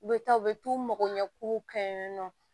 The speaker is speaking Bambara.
U bɛ taa u bɛ t'u magoɲɛ kuruw kɛ yen nɔ